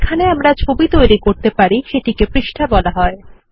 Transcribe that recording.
যেখানে আমরা ছবি তৈরি করতে পারি সেটিকে পৃষ্ঠা বলা হয়